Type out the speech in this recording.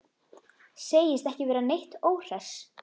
Segist ekki vera neitt óhress.